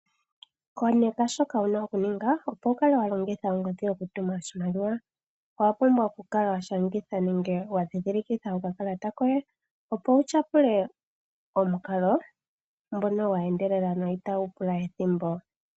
Koneka shoka wu na oku ninga opo wu kale wa longitha ongodhi oku tuma oshimaliwa. Owa pumbwa oku kala wa shangitha nenge wa ndhindhilikitha okakalata koye opo wu tyapule omukalo ngono gwa endelela go itagu pula ethimbo.